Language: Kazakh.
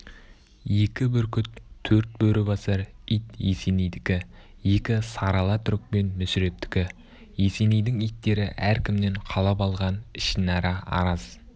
екі бүркіт төрт бөрі басар ит есенейдікі екі сары ала түрікпен мүсірептікі есенейдің иттері әркімнен қалап алған ішінара араз